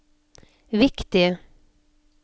viktig